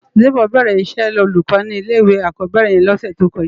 Debo bèrè iṣè ólúkò ni ilé iwé ákòbèrè yèn lòsè tókòjá